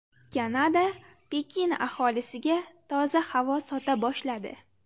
Kanada Pekin aholisiga toza havo sota boshladi.